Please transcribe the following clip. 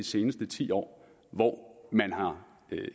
seneste ti år hvor man